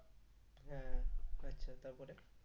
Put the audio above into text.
হ্যাঁ আচ্ছা তারপরে?